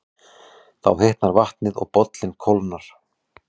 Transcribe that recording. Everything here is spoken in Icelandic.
Þá hitnar vatnið og bollinn kólnar.